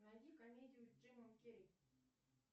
найди комедию с джимом керри